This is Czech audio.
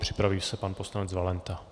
Připraví se pan poslanec Valenta.